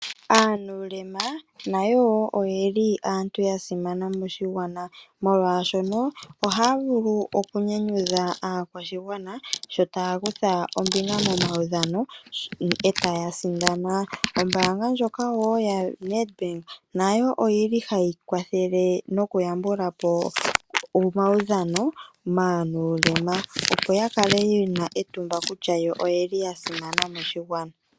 Aanuulema nayo wo oyeli aantu ya simana moshigwana molwaashono ohaya vulu oku nyanyudha aakwashigwana sho taya kutha ombinga momaudhano, e taya sindana. Ombaanga ndjoka wo yaNedbank nayo oyi li hayi kwathele noku yambula po omaudhano maanuulema opo ya kale ye na etumba kutya yo oye li ya simana moshigwana.